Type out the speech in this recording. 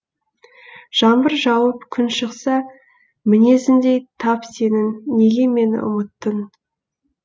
жаңбыр жауып күн шықса мінезіңдей тап сенің неге мені ұмыттың